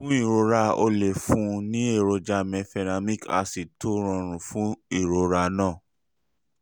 fún ìrora o lè fún un ní èròjà mefenamic acid tó rọrùn fún ìrora náà